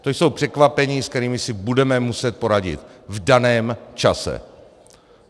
To jsou překvapení, se kterými si budeme muset poradit v daném čase.